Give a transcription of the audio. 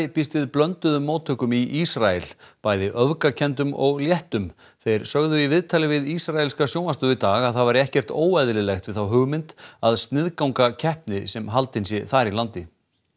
býst við blönduðum móttökum í Ísrael bæði öfgakenndum og léttum þeir sögðu í viðtali við ísraelska sjónvarpsstöð dag að það væri ekkert óeðlilegt við þá hugmynd að sniðganga keppni sem haldin sé þar í landi